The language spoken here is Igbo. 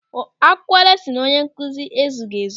Akwụkwọ lesinu onye nkụzi ezughị ezu.